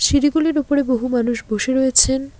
সিঁড়িগুলির ওপরে বহু মানুষ বসে রয়েছেন।